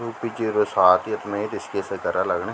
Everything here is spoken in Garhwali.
यू पि जीरो सात ये त में ऋषिकेशा घरा लगणी।